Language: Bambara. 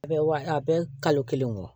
A bɛ wa a bɛ kalo kelen wɔɔrɔ